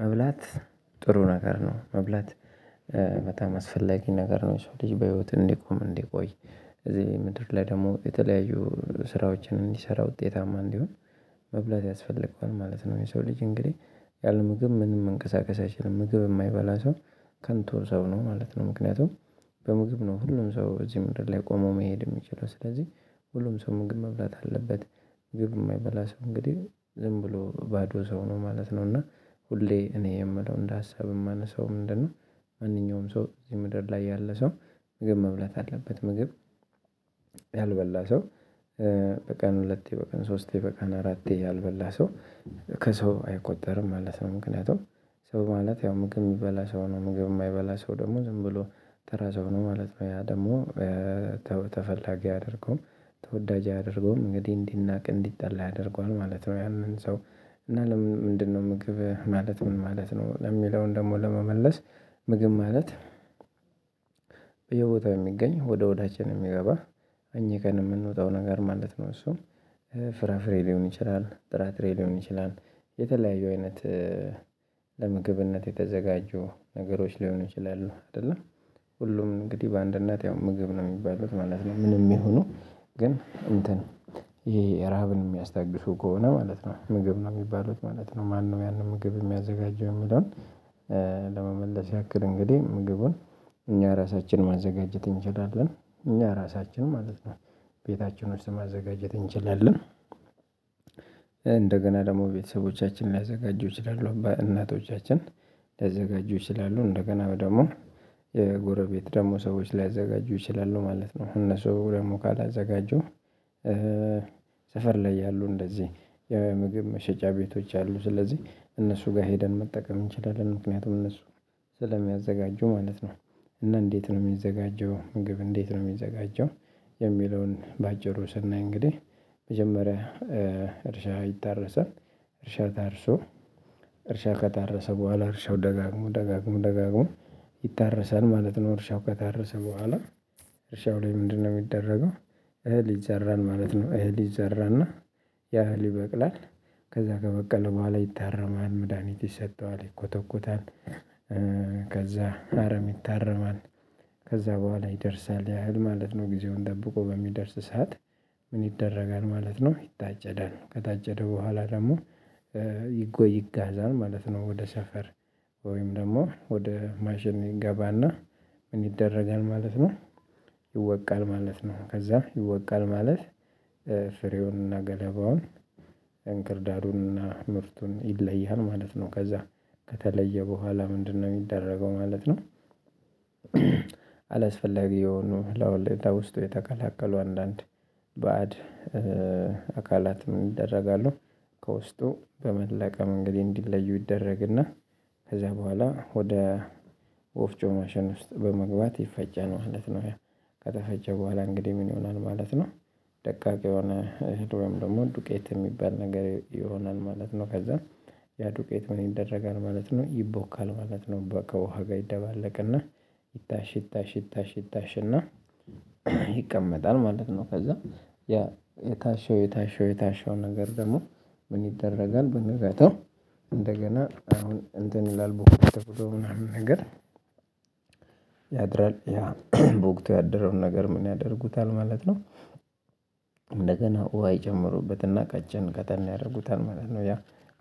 መብላት ጥሩ ነገር ነው መብላት በጣም አስፈላጊ ነገር ነው። ሰው ልጅ በህይወት እንዲቆም እንዲቆይ። እዚህ ምድር ላይ ደግሞ የተለያዩ ስራዎችን እንዲሰራ ውጤታማ እንዲሆን መብላት ያስፈልገዋል ማለት ነው። የሰው ልጅ እንግዲህ ያለ ምግብ ምንም መንቀሳቀስ አይችልም ምግብ የማይበላ ሰው ከንቱ ሰው ነው ማለት ነው። ምክንያቱም በምግብ ነው ሁሉም ሰው እዚህ ምድር ላይ ቆሞ መሄድ የሚችለው። ስለዚህ ሁሉም ሰው ምግብ መብላት አለበት። ምግብ የማይበላ ሰው እንግዲህ ዝም ብሎ ባዶ ሰው ነው ማለት ነው። እና ሁሌ እኔ የምለው እንደ ሀሳብ የማነሳው ምንድነው? ማንኛውም ሰው እዚህ ምድር ላይ ያለ ሰው ምግብ መብላት አለበት። ምግብ ያልበላ ሰው በቀን ሁለቴ በቀን ሶስቴ በቀን አራቴ ያልበላ ሰው ከሰው አይቆጠርም ማለት ነው። ምክንያቱም ሰው ማለት ያው ምግብ የሚበላ ሰው ነው። ምግብ የማይበላ ሰው ደግሞ ዝም ብሎ ተራ ሰው ነው ማለት ነው። ያ ደግሞ ተፈላጊ አድርጎ ተወዳጅ አድርጎ እንግዲህ እንዲናቅ እንዲጠላ ያደርገዋል ማለት ነው። ያንን ሰው እና ለምንድነው ምግብ ማለት ምን ማለት ነው? ለሚለውን ደግሞ ለመመለስ ምግብ ማለት በየቦታው የሚገኝ ወደ ሆዳችን የሚገባ አኝከን የምንውጠው ነገር ማለት ነው። እሱም ፍራፍሬ ሊሆን ይችላል ጥራጥሬ ሊሆን ይችላል። የተለያየ አይነት። ለምግብነት የተዘጋጀው ነገሮች ሊሆኑ ይችላሉ አይደለ ሁሉም እንግዲህ በአንድነት ያው ምግብ ነው የሚባሉት ማለት ነው። ምንም ይሁኑ ግን እንትን ይሄ ረሃብን የሚያስታግሱ ከሆነ ማለት ነው። ምግብ ነው የሚባሉት ማለት ነው። ማነው ያንን ምግብ የሚያዘጋጀው የሚለውን? ለመመለስ ያክል እንግዲህ ምግቡን እኛ ራሳችንን ማዘጋጀት እንችላለን እኛ ራሳችንን ማለት ነው። ቤታችን ውስጥ ማዘጋጀት እንችላለን። እንደገና ደግሞ ቤተሰቦቻችንን ሊያዘጋጁ ይችላለሁ እናቶቻችን ሊያዘጋጁ ይችላሉ እንደገና ደግሞ። የጎረቤት ደግሞ ሰዎች ሊያዘጋጁ ይችላሉ ማለት ነው። እነሱ ደግሞ ካላዘጋጁ ሰፈር ላይ ያሉ እንደዚህ የምግብ መሸጫ ቤቶች አሉ። ስለዚህ እነሱ ጋር ሄደን መጠቀም እንችላለን ምክንያቱም እነሱ ስለሚያዘጋጁ ማለት ነው። እና እንዴት ነው የሚዘጋጀው? ምግብ እንዴት ነው የሚዘጋጀው? የሚለውን በአጭሩ ሰናይ እንግዲህ መጀመሪያ እርሻ ይታረሳል። እርሻ ታርሶ እርሻ ከታረሰ በኋላ እርሻው ደጋግሞ ደጋግሞ ደጋግሞ ይታረሳል ማለት ነው። እርሻው ከታረሰ በኋላ እርሻው ላይ ምንድነው የሚደረገው? እህል ይዘራል ማለት ነው። እህል ይዘራል እና ያ ይበቅላል። ከዛ ከበቀለ በኋላ ይታረማል መድሃኒት ይሰጠዋል ይኮተኮታል። ከዛ አረም ይታረማል። ከዛ በኋላ ይደርሳል ያህል ማለት ነው። ጊዜውን ጠብቆ በሚደርስ ሰዓት ምን ይደረጋል ማለት ነው? ይታጨዳል ከታጨደ በኋላ ደግሞ ይጋዛል ማለት ነው። ወደ ሰፈር ወይም ደግሞ ወደ ማሽን ይገባና ምን ይደረጋል ማለት ነው? ይወቃል ማለት ነው ከዛ ይወቃል ማለት። ፍሬውንና ገለባውን እንክርዳዱንና ምርቱን ይለያን ማለት ነው። ከዛ ከተለየ በኋላ ምንድነው የሚደረገው ማለት ነው? አላስፈላጊ የሆኑ ለወለዳ ውስጥ የተቀላቀሉ አንዳንድ በአድ አካላት ምን ይደረጋሉ? ከውስጡ በመለቀም እንግዲህ እንዲለዩ ይደረግና። ከዛ በኋላ ወደ ወፍጮ ማሸን ውስጥ በመግባት ይፈጫን ማለት ነው። ከተፈጨ በኋላ እንግዲህ ምን ይሆናል ማለት ነው? ደቃቅ የሆነ ወይም ደግሞ ዱቄት የሚባል ነገር ይሆናል ማለት ነው። ከዛ ያ ዱቄት ምን ይደረጋል ማለት ነው? ይቦካል ማለት ነው። በቃ ውሃ ጋር ይደባለቅና ይታሽ ይታሽ ይታሽ እና ይቀመጣል ማለት ነው። ከዛ ያ የታሸው የታሸው የታሸው ነገር ደግሞ ምን ይደረጋል በነጋታው? እንደገና አሁን እንትን ይላል በወቅቱ ምናምን ነገር ያድራል በወቅቱ ያደረውን ነገር ምን ያደርጉታል ማለት ነው? እንደገና ውሃ ይጨምሩበትና ቀጭን ቀጠን ያደርጉታል ማለት ነው። ያ